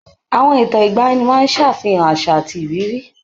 Àwọn ìtàn ìgbaanì máa ń ṣàfihàn àṣà àti ìrírí.